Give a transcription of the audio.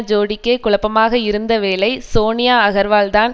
ஜோடிக்கே குழப்பமாக இருந்தவேளை சோனியா அகர்வால்தான்